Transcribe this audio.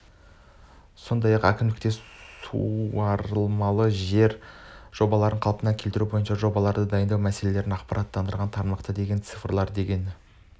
сондай-ақ әкімдікте суармалы жер жобаларды қалпына келтіру бойынша жобаларды дайындау мәселесін ақпараттандырды тармақтағы деген цифрлар деген